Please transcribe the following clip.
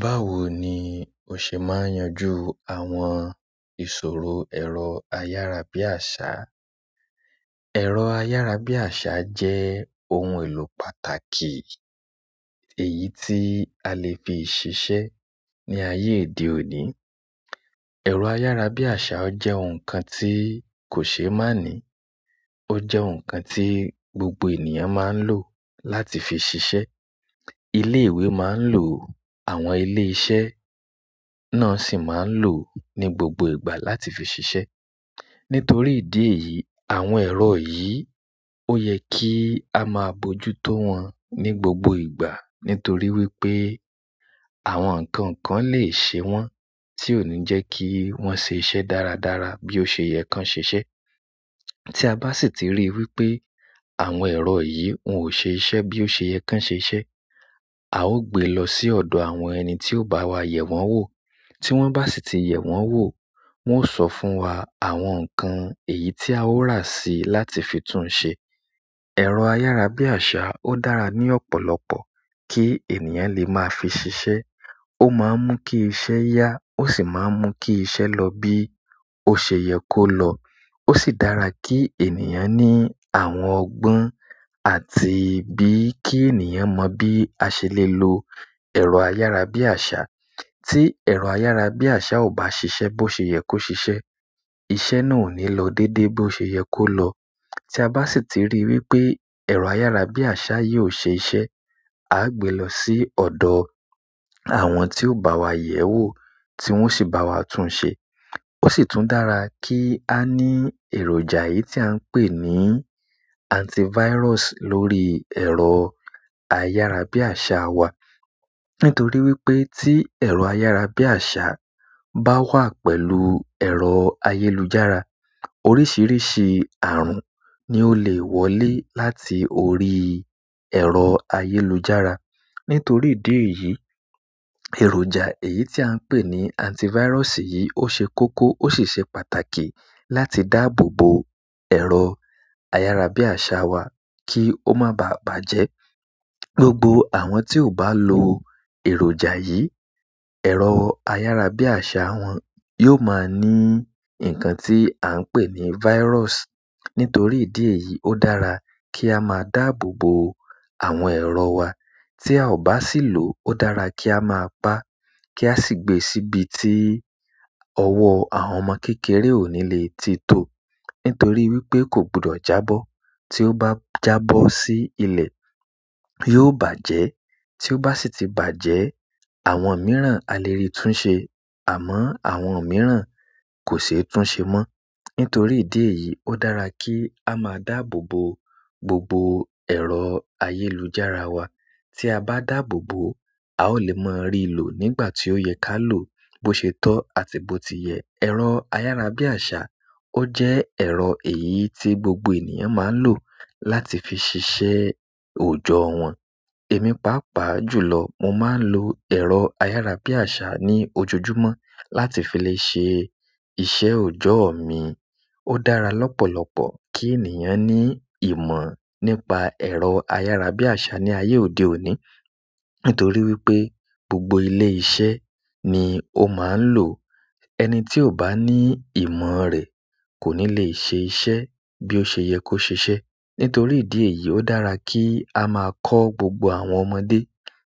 Báwo ni o ṣe máa yanjú àwọn ìṣòro ẹ̀rọ ayárabíàṣá? Ẹ̀rọ ayárabíàṣa jẹ́ ohun èlò pàtàkì èyí tí a lè fi ṣiṣẹ́ ní ayé òde òní. Ẹ̀rọ ayárabíàṣa ó jẹ́ ohun kan tí kò ṣe é má ni. Ó jẹ́ ohun kan tí gbogbo ènìyàn máa ń lò láti fi ṣiṣẹ́. Ilé ìwé máa ń lò ó, àwọn ilé iṣẹ́ náà sì máa ń lò ó ní gbogbo ìgbà láti fi ṣiṣẹ́. Nítorí ìdí èyí, àwọn ẹ̀rọ yìí ó yẹ kí a máa bójú tó wọn ní gbogbo ìgbà. Nítorí wípé àwọn nǹkan kan lè ṣe wọ́n, tí ò ní jẹ́ kí wọ́n ṣe iṣẹ́ dáradára bí ó ṣe yẹ kán ṣe ṣẹ́. Tí a bá sì ti rí i wípé àwọn ẹ̀rọ yìí wọn ò ṣe iṣẹ́ bí ó ṣe yẹ ká ṣe ṣe, a ó gbé lọ sí ọ̀dọ̀ àwọn ẹni tí ó bá wa yẹ̀ wọ́n wò. Tí wọ́n bá sì ti yẹ̀ wọ́n wóò, wọ́n ó sọ fún wa àwọn nǹkan èyí tí a ó rà sí láti fi tún ṣe. Ẹ̀rọ ayárabíàṣá ó dára ní ọ̀pọ̀lọpọ̀ kí ènìyàn lè máa fi ṣiṣẹ́. Ó máa ń mú kí iṣẹ́ yá ó sì máa ń mú kí iṣẹ́ lọ bí ó ṣe yẹ kó lọ. Ó sì dára kí ènìyàn ní àwọn ọgbọ́n àti bí kí ènìyàn mọ bí a ṣe lè lo ẹ̀rọ ayárabíàṣá. Tí ẹ̀rọ ayárabíàṣá ò bá ṣiṣẹ́ bó ṣe yẹ kó ṣiṣẹ́, iṣẹ́ náà ò ní lọ dédé bó ṣe yẹ kó lọ. Tí a bá sì ti rí i wípé ẹ̀rọ ayárabíàṣá yìí ò ṣe iṣẹ́, a á gbé lọ sí ọ̀dọ̀ àwọn tí ó bá wa yẹ̀ wò tí wọ́n sì bá wa tún ṣe. Ó sì tún dára kí á ní èròjà èyí tí à ń pè ní antivirus lórí ẹ̀rọ ayárabíàṣá wa. Nítorí wípé tí ẹ̀rọ ayárabíàṣá bá wà pẹ̀lú ẹ̀rọ ayélujára, oríṣìíríṣìí ààrùn ni ó lè wọlé láti orí ẹ̀rọ ayélujára. Nítorí ìdí èyí, èròjà èyí tí à ń pè ní antivirus yìí ó ṣe kókó ó sì ṣe pàtàkì láti dáàbò bo ẹ̀rọ ayárabíàṣá wa kí ó máa ba à bàjẹ́. Gbogbo àwọn tí ò bá lo èròjà yìí, ẹ̀rọ ayárabíàṣá wọn yóò máa ní nǹkan tí à ń pè ní virus. Nítorí ìdí èyí, ó dára kí a máa dáàbò bo àwọn ẹ̀rọ wa. Tí a ò bá sì lò ó, ó dára kí á máa pá, kí á ó sì gbe e síbi tí ọwọ́ àwọn ọmọ kékeré ò ní le titó o nítorí wípé kò gbúdọ̀ jábọ́. Tí ó bá jábọ́ sí ilẹ̀, yóò bàjẹ́. Tí ó bá sì ti bàjẹ́, àwọn mìíràn a lè rí tún ṣe àmọ́ àwọn mìíràn kò ṣe é tún ṣe mọ́. Nítorí ìdí èyí, ó dára kí a máa dáàbò bo gbogbo ẹ̀rọ ayélujára wa. Tí a bá dáàbò bo, a ó lè máa rí i lò nígbà tí ó yẹ ká lò bó ṣe tọ́ àti bó ti yẹ. Ẹ̀rọ ayárabíàṣá ó jẹ́ ẹ̀rọ èyí tí gbogbo ènìyàn máa ń lò láti fi ṣiṣẹ́ òòjọ́ wọn. Èmi pàápàá jùlọ mo máa ń lo ẹ̀rọ ayárabíàṣá ní ojojúmọ́ láti fi le ṣe iṣẹ́ òjọ́ mi. Ó dára lọ́pọ̀lọpọ̀ kí ènìyàn ní ìmọ̀ nípa ẹ̀rọ ayárabíàṣá ní ayé òde òní. Nítorí wípé gbogbo ilé iṣẹ́ ni ó máa ń lò. Ẹni tí ò bá ní ìmọ̀ rẹ̀ kò ní lè ṣe iṣẹ́ bí ó ṣe yẹ kó ṣeṣẹ́. Nítorí ìdí èyí, ó dára kí a máa kọ́ gbogbo àwọn ọmọdé